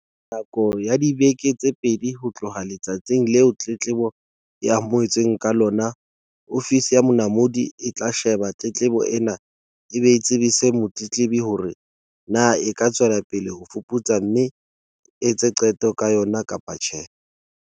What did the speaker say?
"Nakong ya dibeke tse pedi ho tloha letsatsing leo tletlebo e amohetsweng ka lona, Ofisi ya Monamodi e tla sheba tletlebo ena e be e tsebise motletlebi hore na e ka tswela pele ho e fuputsa mme e etse qeto ka yona, kapa tjhe."